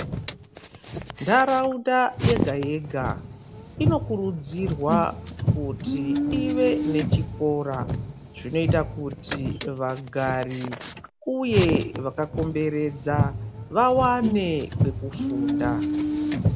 Ndaraunda yega yega inokurudzirwa kuti ive nechikora chinoita kuti ive nechikora zvinoita kuti vagari uye vakakomberedza vawane pekufunda.